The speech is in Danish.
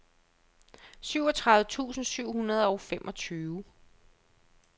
syvogtredive tusind syv hundrede og femogtyve